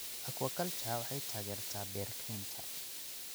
Aquaculture waxay taageertaa beer-kaynta.